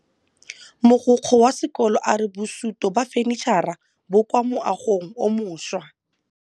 Mogokgo wa sekolo a re bosutô ba fanitšhara bo kwa moagong o mošwa.